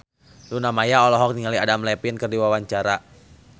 Luna Maya olohok ningali Adam Levine keur diwawancara